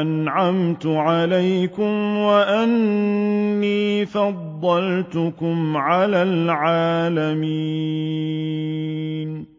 أَنْعَمْتُ عَلَيْكُمْ وَأَنِّي فَضَّلْتُكُمْ عَلَى الْعَالَمِينَ